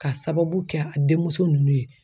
Ka sababu kɛ a denmuso ninnu ye